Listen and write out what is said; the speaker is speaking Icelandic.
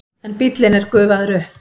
En bíllinn er gufaður upp.